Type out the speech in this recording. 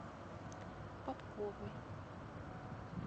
попковой